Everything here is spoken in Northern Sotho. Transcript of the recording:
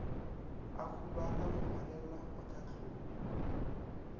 a hubala go ngwalelwa mohlahlobi